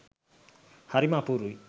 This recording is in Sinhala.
හරිම අපූරුයි